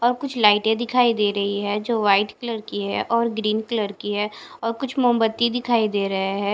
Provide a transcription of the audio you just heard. और कुछ लाइटे दिखाई दे रही है जो वाइट कलर है और ग्रीन कलर की है और कुछ मोमबत्ती दिखाई दे रहे है।